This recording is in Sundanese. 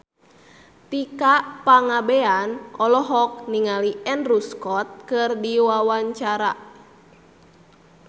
Tika Pangabean olohok ningali Andrew Scott keur diwawancara